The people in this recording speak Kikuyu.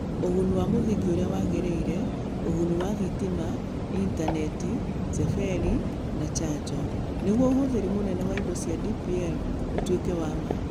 Ũguni wa mũthingi ũrĩa wagĩrĩire (ũguni wa thitima, intaneti, serveri, na charger) nĩguo ũhũthĩri mũnene wa indo cia DPL ũtuĩke wa ma.